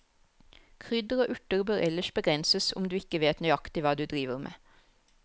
Krydder og urter bør ellers begrenses, om du ikke vet nøyaktig hva du driver med.